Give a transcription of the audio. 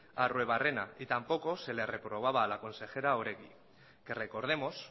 a arruebarrena y tampoco se le reprobaba a la consejera oregi que recordemos